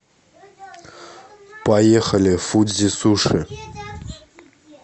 поехали фудзи суши